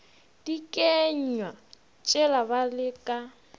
dikenywa tšela ba le ka